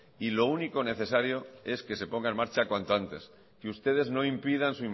y lo único necesario es que se ponga en marcha cuanto antes que ustedes no impidan